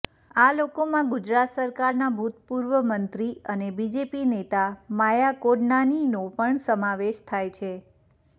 આ લોકોમાં ગુજરાત સરકારના ભૂતપૂર્વ મંત્રી અને બીજેપી નેતા માયા કોડનાનીનો પણ સમાવેશ થાય છે